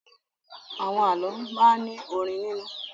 Àwọn àlọ́ máa ń ní orin nínú.